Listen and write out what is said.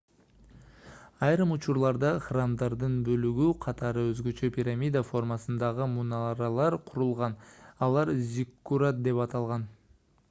айрым учурларда храмдардын бөлүгү катары өзгөчө пирамида формасындагы мунаралар курулган алар зиккурат деп аталган